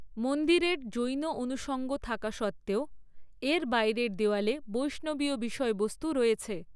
মন্দিরের জৈন অনুষঙ্গ থাকা সত্ত্বেও, এর বাইরের দেয়ালে বৈষ্ণবীয় বিষয়বস্তু রয়েছে।